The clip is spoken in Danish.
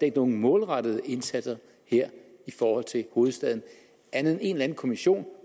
ikke nogen målrettede indsatser her i forhold til hovedstaden andet end en eller anden kommission